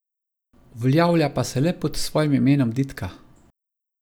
Uveljavlja pa se le pod svojim imenom Ditka.